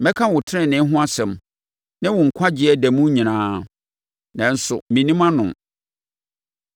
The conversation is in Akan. Mɛka wo tenenee ho asɛm, ne wo nkwagyeɛ da mu nyinaa, nanso mennim ano.